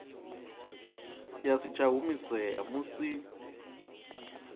ya si tsha humisea musi